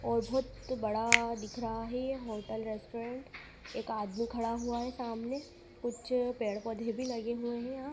और बहोत बड़ा दिख रहा है होटल रेस्टोरेंट एक आदमी खड़ा हुआ है सामने कुछ पेड़ पौधे भी लगे हुए हैं।